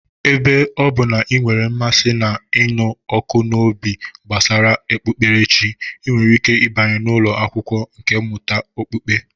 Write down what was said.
Ebe ọ bụ na ị nwere mmasị na ịnụ ọkụ n'obi gbasara okpukperechi, ị nwere ike ịbanye n'ụlọ akwụkwọ nkà mmụta okpukpe